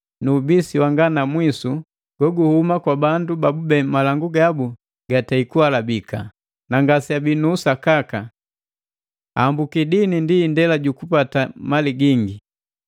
nu ubisi wanga na mwisu kokuhuma kwa bandu babube malangu gabu gatei kuhalabika, na ngaseabii nu usakaka. Ahambuki dini ndi indela jukupati mali gingi.